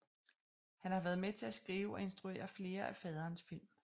Han har været med til at skrive og instruere flere af faderens film